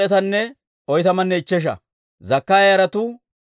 Adoonik'aama yaratuu 666.